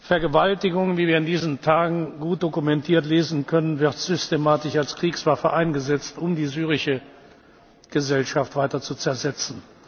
Vergewaltigung wie wir in diesen Tagen gut dokumentiert lesen können wird systematisch als Kriegswaffe eingesetzt, um die syrische Gesellschaft weiter zu zersetzen.